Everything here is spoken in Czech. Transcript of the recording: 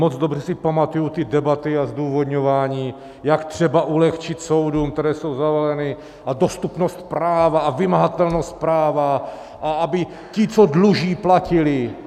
Moc dobře si pamatuji ty debaty a zdůvodňování, jak třeba ulehčit soudům, které jsou zavaleny, a dostupnost práva a vymahatelnost práva, a aby ti, co dluží, platili.